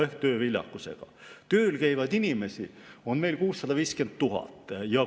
Tööl käivaid inimesi on meil 650 000.